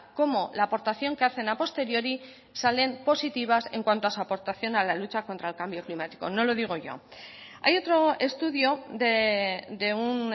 como la aportación que hacen a posteriori salen positivas en cuanto a su aportación a la lucha contra el cambio climático no lo digo yo hay otro estudio de un